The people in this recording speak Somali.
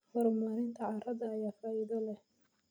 Horumarinta carrada ayaa faa'iido leh.